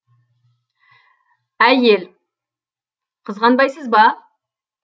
ә й е л қызғанбайсыз ба